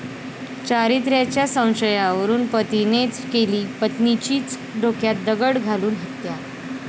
चारित्र्याच्या संशयावरून पतीनेच केली पत्नीचीच डोक्यात दगड घालून हत्या